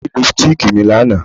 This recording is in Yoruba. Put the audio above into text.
Wọn jí lipstíìkì mi lánàá